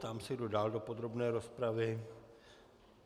Ptám se, kdo dál do podrobné rozpravy.